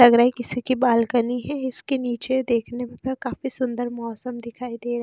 लग रहा है किसी की बालकनी है इसके नीचे देखने पर काफी सुंदर मौसम--